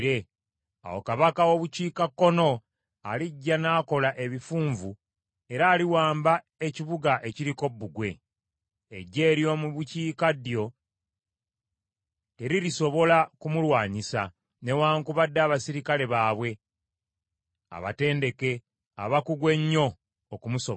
Awo kabaka w’obukiikakkono alijja n’akola ebifunvu era aliwamba ekibuga ekiriko bbugwe. Eggye ery’omu bukiikaddyo teririsobola kumulwanyisa, newaakubadde abaserikale baabwe abatendeke abakugu ennyo okumusobola.